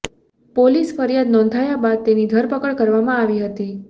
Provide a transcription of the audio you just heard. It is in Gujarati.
પોલીસ ફરિયાદ નોંધાયા બાદ તેની ધરપકડ કરવામાં આવી હતી